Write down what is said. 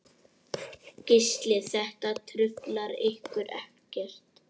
Gísli: Þetta truflar ykkur ekkert?